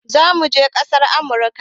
Zamuje ƙasar amurka